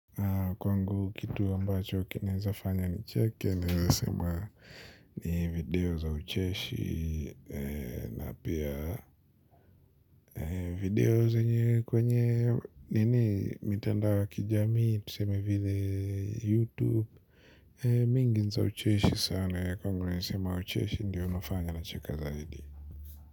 Kwangu kitu ambacho kinaweza fanya nicheke naweza sema ni video za ucheshi na pia. Video kwenye mitandao ya kijamii, tuseme vile YouTube. Nyingi za ucheshi sana, kwangu nilizosema ucheshi ndiyo unafanya nacheka zaidi.